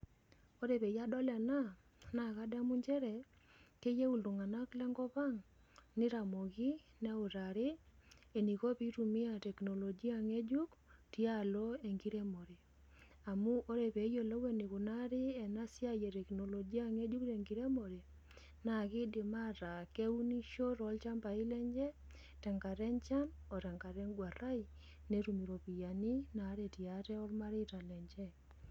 Ore peyie adol ena naa kadamu nchere keyieu iltung'ana lenkop ang' nitamoki, neutari eniko peitumiya teknolojia ng'ejuk tialo enkiremore. Amu ore pee eyolou enikunari ena siai ee teknolojia ng'ejuk tenkiremore naa keidim ataa keunisho tolchambai lenye tenkata enchan oo tenkata eguarai netum iropiani naretei aate ormareta lenche.